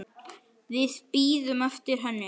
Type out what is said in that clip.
Við bíðum eftir henni